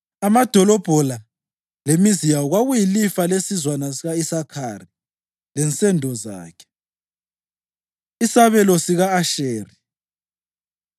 Amadolobho la lemizi yawo kwakuyilifa lesizwana sika-Isakhari lensendo zakhe. Isabelo Sika-Asheri